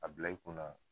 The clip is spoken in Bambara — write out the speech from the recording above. A bila i kunna